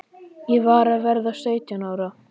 Ég var að verða sautján ára.